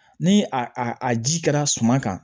Ni a ji kɛra suma kan